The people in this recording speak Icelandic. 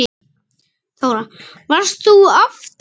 Þóra: Varst þú aftast?